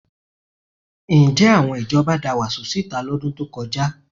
Ǹjẹ́ àwọn ìjọba da wàsó síta lọ́dún tó kọjá?